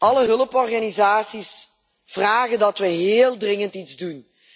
Alle hulporganisaties vragen dat wij heel dringend iets doen.